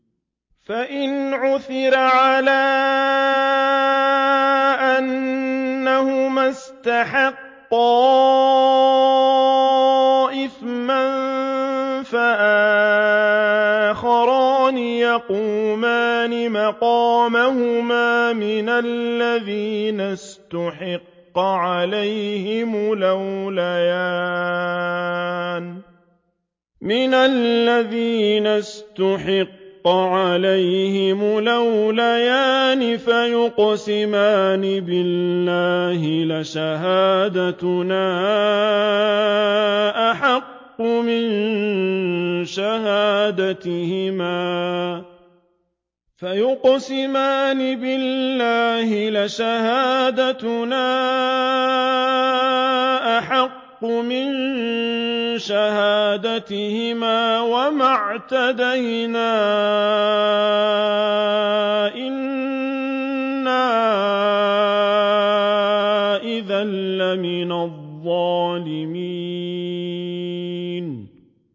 فَإِنْ عُثِرَ عَلَىٰ أَنَّهُمَا اسْتَحَقَّا إِثْمًا فَآخَرَانِ يَقُومَانِ مَقَامَهُمَا مِنَ الَّذِينَ اسْتَحَقَّ عَلَيْهِمُ الْأَوْلَيَانِ فَيُقْسِمَانِ بِاللَّهِ لَشَهَادَتُنَا أَحَقُّ مِن شَهَادَتِهِمَا وَمَا اعْتَدَيْنَا إِنَّا إِذًا لَّمِنَ الظَّالِمِينَ